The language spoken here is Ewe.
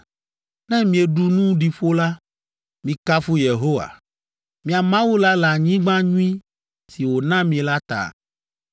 Ne mieɖu nu ɖi ƒo la, mikafu Yehowa, mia Mawu la le anyigba nyui si wòna mi la ta.